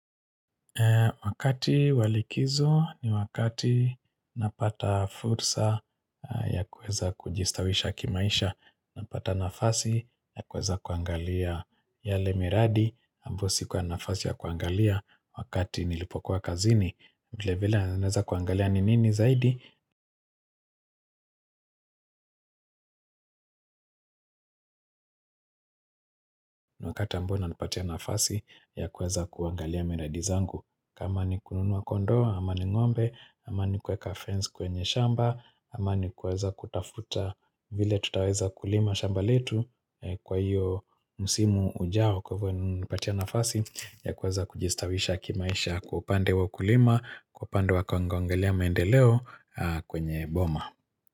Wakati wa likizo ni wakati napata fulsa ya kuweza kujistawisha kimaisha. Napata nafasi ya kuweza kuangalia yale miradi sikuwa nafasi ya kuangalia wakati nilipokuwa kazini vile vile naweza kuangalia ni nini zaidi. Na wakati ambao unanipatia nafasi ya kuweza kuangalia miradi zangu. Kama ni kununua kondoo, ama ni ng'ombe, ama ni kuweka fence kwenye shamba ama ni kuweza kutafuta vile tutaweza kulima shamba letu kwa hiyo msimu ujao kwa hivyo nimepatia nafasi ya kuweza kujistawisha kimaisha kwa upande wa kulima kwa upande wa kuangalia maendeleo kwenye boma.